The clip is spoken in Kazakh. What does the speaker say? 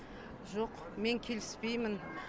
жоқ мен келіспеймін